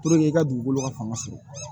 i ka dugukolo ka fanga sɔrɔ